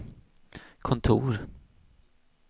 kontor